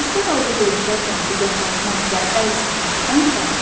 Xəstə halda görüşərkən qucaqlaşmaq və əl sıxmaqdan qaç.